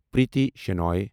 Preeti Shenoy